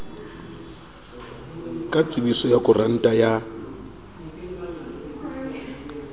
ka tsebiso ya koranta ya